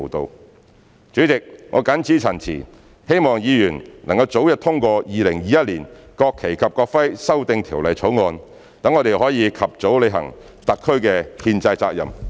代理主席，我謹此陳辭，希望議員能早日通過《2021年國旗及國徽條例草案》，讓我們能及早履行特區的憲制責任。